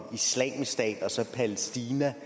palæstina